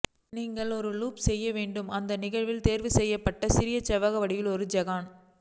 நீங்கள் ஒரு லூப் செய்ய வேண்டும் அந்த நிகழ்வில் தேர்வுசெய்யப்பட்ட சிறிய செவ்வகம் வடிவில் ஒரு ஐகான்